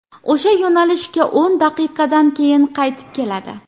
O‘sha yo‘nalishga o‘n daqiqadan keyin qaytib keladi.